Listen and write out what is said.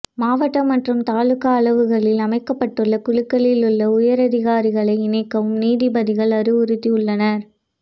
மாவட்ட மற்றும் தாலுகா அளவுகளில் அமைக்கப்பட்டுள்ள குழுக்களில் உள்ள உயரதிகாரிகளை இணைக்கவும் நீதிபதிகள் அறிவுறுத்தியுள்ளனர்